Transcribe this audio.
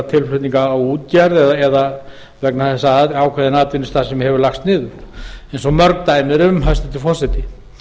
tilflutninga á útgerð eða vegna þess að ákveðin atvinnustarfsemi hefur lagst niður eins og mörg dæmi eru um hæstvirtur forseti